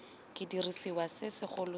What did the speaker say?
ke sediriswa se segolo sa